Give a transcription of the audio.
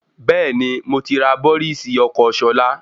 Bẹ́ẹ̀ni, moti rà bọ́rìs ọkọ́ Ṣọlá